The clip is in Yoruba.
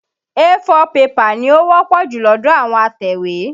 A4 pẹ́pà ni ó wọ́pọ̀ jù lọ́dọ̀ àwọn atẹ̀wé.